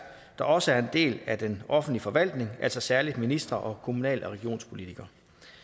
der også er en del af den offentlige forvaltning altså særlig ministre og kommunal og regionspolitikere